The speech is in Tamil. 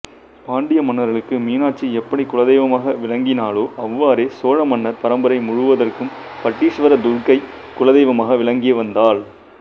பாண்டிய மன்னர்களுக்கு மீனாட்சி எப்படி குலதெய்வமாக விளங்கினாளோ அவ்வாறே சோழ மன்னர் பரம்பரை முழுவதற்கும் பட்டீஸ்வர துர்க்கை குலதெய்வமாக விளங்கிவந்தாள்